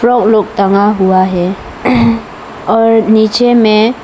और लोग टंगा हुआ है और नीचे में--